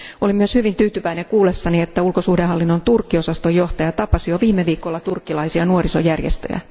Olen myös hyvin tyytyväinen kuullessani, että ulkosuhdehallinnon Turkki osaston johtaja tapasi jo viime viikolla turkkilaisia nuorisojärjestöjä.